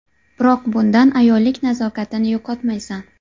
Biroq bundan ayollik nazokatini yo‘qotmaysan.